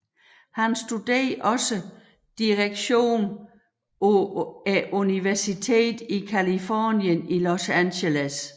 Han studerede også direktion på Universitetet i Californien i Los Angeles